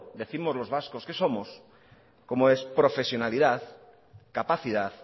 décimos los vascos que somos como es profesionalidad capacidad